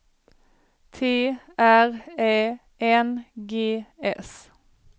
T R Ä N G S